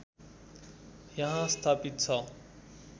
यहाँ स्थापित छ